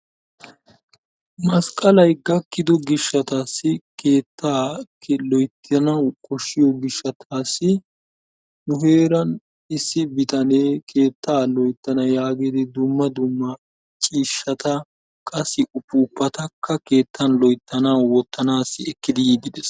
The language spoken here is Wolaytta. Masqqalay gakkido gishshatassi keettaa keehi loyttanaw koshshiyo gishshatassi nu heeran issi biitanee keetta loyttana yaagidi dumma dumma ciishshata qassi puupatakka keettan loyttanaw wottanassi ekkidi yiidde dees.